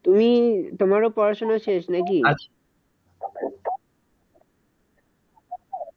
তুমি তোমারও পড়াশোনা শেষ নাকি?